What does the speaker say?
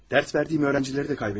Dərs verdiyim öğrenciləri də qaybettim.